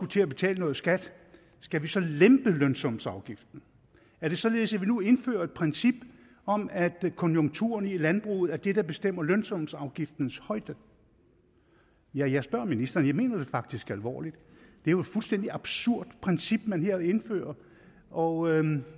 til at betale noget skat skal vi så lempe lønsumsafgiften er det således at vi nu indfører et princip om at konjunkturerne i landbruget er det der bestemmer lønsumsafgiftens højde ja jeg spørger ministeren og jeg mener det faktisk alvorligt det er jo et fuldstændig absurd princip man her indfører og